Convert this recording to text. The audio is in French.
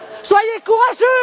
Soyez courageux!